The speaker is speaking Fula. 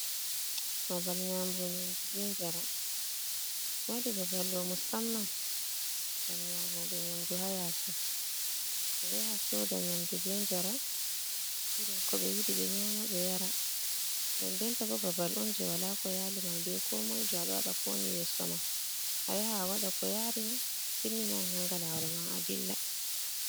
Babal nƴaamugo nƴaandu be njaram, ɓe waɗi babalɗo musamman ngam nyaamoɓe nyaamdu ha yaasi, ɓe ɗo yahaa soda nyaamdu be njaram iri ko ɓe yiiɗi ɓe nyaama ɓe yara. Nden den tabo babal'on jee wala ko yalima be komoijo aɗo waɗa ko woni yeesoma ayaha waɗa ko yarima atimmina ananga lawolma adilla.